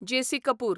JC. Kapoor